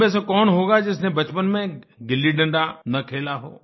हम में से कौन होगा जिसने बचपन में गिल्लीडंडा न खेला हो